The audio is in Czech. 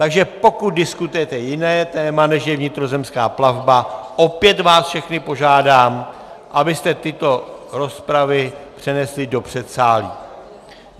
Takže pokud diskutujete jiné téma, než je vnitrozemská plavba, opět vás všechny požádám, abyste tyto rozpravy přenesli do předsálí!